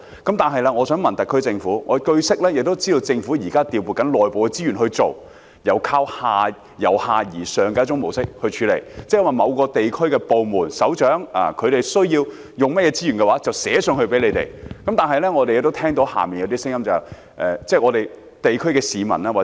可是，我想問特區政府，據悉，政府現正調撥內部資源進行一種由下而上的模式來處理問題，即某個地區的部門首長需要使用甚麼資源的話，可由下層向上層提出書面要求。